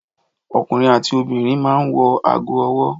Ọkùnrin àti obìnrin máa ń wọ ago-ọwọ́.